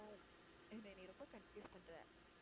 என்னைய நீ ரொம்ப confuse பண்ணுற